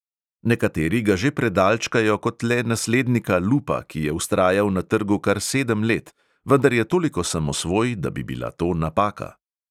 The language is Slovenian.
Nekateri ga že predalčkajo kot le naslednika lupa, ki je vztrajal na trgu kar sedem let, vendar je toliko samosvoj, da bi bila to napaka.